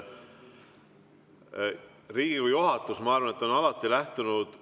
Riigikogu juhatus, ma arvan, on alati lähtunud …